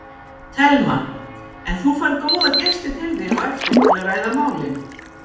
Telma: En þú færð góða gesti til þín á eftir til að ræða málin?